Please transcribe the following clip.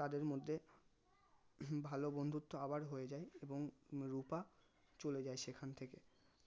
তাদের মধ্যে ভালো বন্ধুত্ব আবার হয়ে যাই এবং রুপা চলে যাই সেখান থেকে